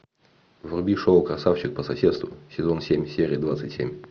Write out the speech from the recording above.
вруби шоу красавчик по соседству сезон семь серия двадцать семь